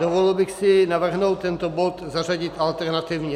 Dovolil bych si navrhnout tento bod zařadit alternativně.